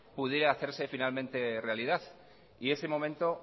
pudiera hacerse finalmente realidad ese momento